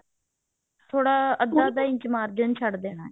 ਥੋੜਾ ਅੱਧਾ inch margin ਛੱਡ ਦੇਣਾ